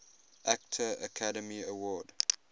actor academy award